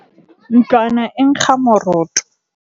ntlwana e nkga moroto